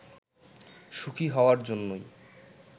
সুখি হওয়ার জন্যই